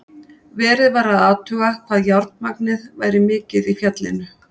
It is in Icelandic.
Verið var að athuga hvað járnmagnið væri mikið í fjallinu.